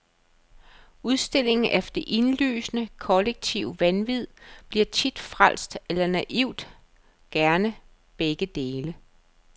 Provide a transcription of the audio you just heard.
Udstilling af det indlysende, kollektive vanvid bliver tit frelst eller naivt, gerne begge dele.